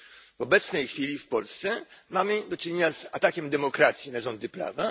W obecnej chwili w Polsce mamy do czynienia z atakiem demokracji na rządy prawa.